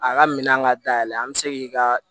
A ka minɛn ka dayɛlɛ an bɛ se k'i ka